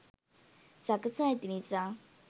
සකසා ඇති නිසා.